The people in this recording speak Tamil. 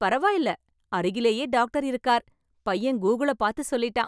பரவாயில்ல அருகிலேயே டாக்டர் இருக்கார். பையன் கூகுளை பார்த்து சொல்லிட்டான்.